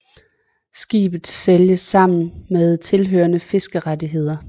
Skibet sælges sammen med tilhørende fiskerettigheder